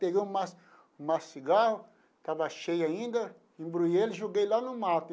Peguei um maço um maço de cigarro estava cheio ainda, embrulhei ele e joguei lá no mato.